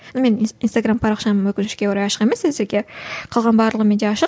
инстаграмм парақшам өкінішке орай ашық емес әзірге қалғаны барлығы менде ашық